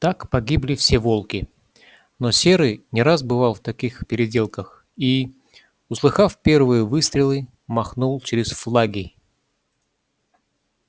так погибли все волки но серый не раз бывал в таких переделках и услыхав первые выстрелы махнул через флаги